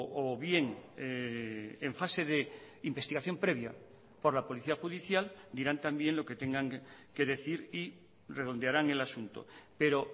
o bien en fase de investigación previa por la policía judicial dirán también lo que tengan que decir y redondearán el asunto pero